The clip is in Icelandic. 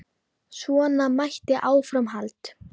Svona mætti áfram halda.